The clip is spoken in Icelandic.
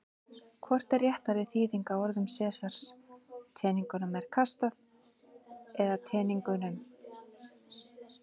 Hvort er réttari þýðing á orðum Sesars: Teningnum er kastað eða Teningunum?